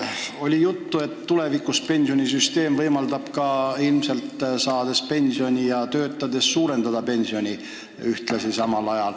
Oli juttu, et tulevikus pensionisüsteem ilmselt võimaldab pensioni saades töötada ja samal ajal ka oma pensioni suurendada.